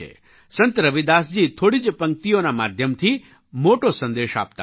સંત રવિદાસજી થોડી જ પંક્તિઓના માધ્યમથી મોટો સંદેશ આપતા હતા